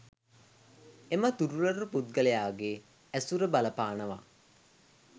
එම දුර්වල පුද්ගලයාගේ ඇසුර බලපානවා.